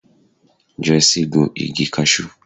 Joyce gun igi Cashew.